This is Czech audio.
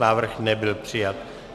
Návrh nebyl přijat.